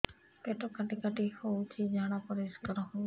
ପେଟ କାଟି କାଟି ହଉଚି ଝାଡା ପରିସ୍କାର ହଉନି